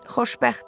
Xoşbəxt.